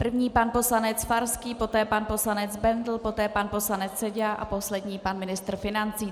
První pan poslanec Farský, poté pan poslanec Bendl, poté pan poslanec Seďa a poslední pan ministr financí.